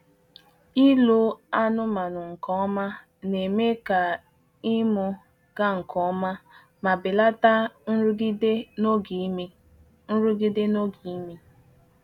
Ịlụ anụmanụ nke ọma na-eme ka ịmụ gaa nke ọma ma belata nrụgide n’oge ime. nrụgide n’oge ime.